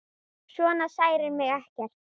Svona særir mig ekki neitt.